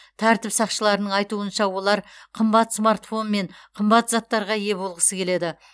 тәртіп сақшыларының айтуынша олар қымбат смартфон мен қымбат заттарға ие болғысы келеді